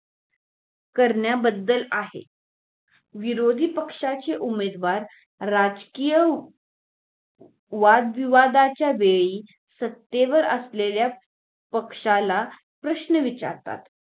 करण्याबद्दल आहे विरोधी पक्षाची उमेदवार राजकीय वादविवादाच्या वेळी सत्तेवर असलेल्या पक्षाला प्रश्न विचारतात